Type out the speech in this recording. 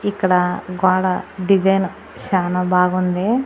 ఇక్కడ గోడ డిజైన్ చానా బాగుంది.